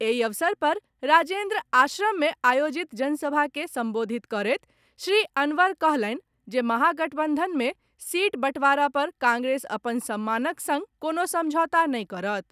एहि अवसर पर राजेन्द्र आश्रम मे आयोजित जनसभा के संबोधित करैत श्री अनवर कहलनि जे महागठबंधन मे सीट बंटवारा पर कांग्रेस अपन सम्मानक संग कोनो समझौता नहि करत।